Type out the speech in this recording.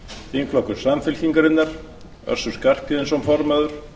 þingflokkur samfylkingarinnar össur skarphéðinsson formaður